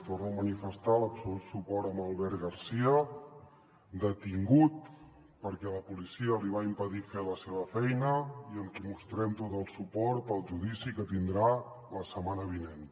torno a manifestar l’absolut suport a l’albert garcia detingut perquè la policia li va impedir fer la seva feina i amb qui mostrem tot el suport pel judici que tindrà la setmana vinent